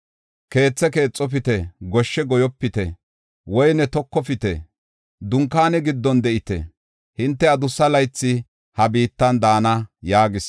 Keethe keexofite; goshshe goyopite; woyne tokofite. Dunkaane giddon de7ite; hinte adussa laythi ha biittan daana’ yaagis.